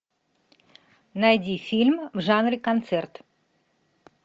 найди фильм в жанре концерт